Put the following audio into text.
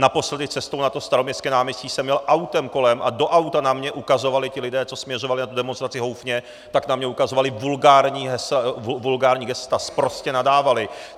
Naposledy cestou na to Staroměstské náměstí jsem jel autem kolem a do auta na mě ukazovali ti lidé, co směřovali na tu demonstraci houfně, tak na mě ukazovali vulgární gesta, sprostě nadávali.